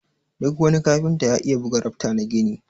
Duk wani kafinta ya iya buga rafta na gini.